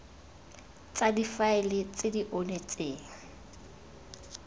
tsa difaele tse di onetseng